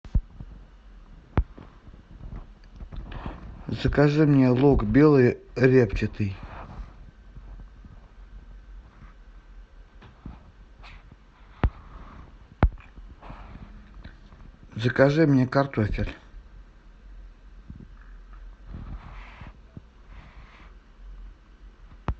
закажи мне лук белый репчатый закажи мне картофель